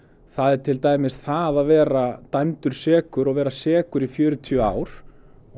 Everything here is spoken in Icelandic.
það er til dæmis það að vera dæmdur sekur og að vera sekur í fjörutíu ár